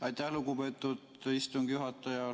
Aitäh, lugupeetud istungi juhataja!